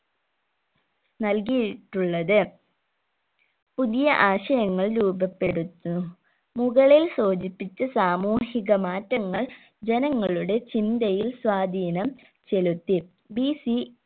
നൽകിയിട്ടുള്ളത് പുതിയ ആശയങ്ങൾ രൂപപ്പെടുത്തു മുകളിൽ സൂചിപ്പിച്ച സാമൂഹിക മാറ്റങ്ങൾ ജനങ്ങളുടെ ചിന്തയിൽ സ്വാധീനം ചെലുത്തി BC